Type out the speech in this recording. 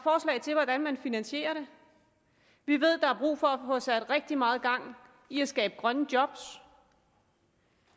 er man finansierer dem vi ved at der er brug for at få sat rigtig meget gang i at skabe grønne job